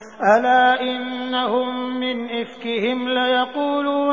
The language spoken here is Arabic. أَلَا إِنَّهُم مِّنْ إِفْكِهِمْ لَيَقُولُونَ